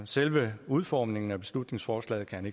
selve udformningen af beslutningsforslaget kan